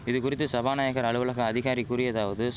இதுகுறித்து சபாநாயகர் அலுவலக அதிகாரி கூறியதாவது